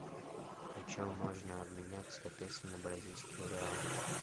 почем можно обменять сто песо на бразильские реалы